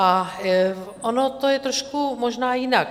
A ono to je trošku možná jinak.